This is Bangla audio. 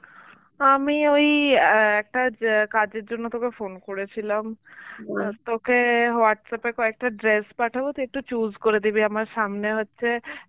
আমি ওই অ্যাঁ একটা জ্যা কাজের জন্য তোকে phone করেছিলাম. তোকে Whatsapp এ কয়েকটা dress পাঠাবো তুই একটু choose করে দিবি আমার সামনে হচ্ছে